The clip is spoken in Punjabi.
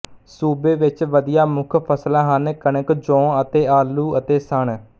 ਸੂਬੇ ਵਿੱਚ ਵਧੀਆਂ ਮੁੱਖ ਫਸਲਾਂ ਹਨ ਕਣਕ ਜੌਂ ਅਤੇ ਆਲੂ ਅਤੇ ਸਣ